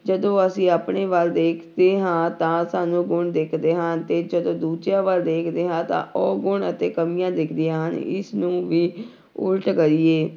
ਜਦੋਂ ਅਸੀਂ ਆਪਣੇ ਵੱਲ ਦੇਖਦੇ ਹਾਂ ਤਾਂ ਸਾਨੂੰ ਗੁਣ ਦਿਖਦੇ ਹਨ ਤੇ ਜਦੋਂ ਦੂਜਿਆਂ ਵੱਲ ਦੇਖਦੇ ਹਾਂ ਤਾਂ ਔਗੁਣ ਅਤੇ ਕਮੀਆਂ ਦਿਖਦੀਆਂ ਹਨ, ਇਸ ਨੂੰ ਵੀ ਉੱਲਟ ਕਰੀਏ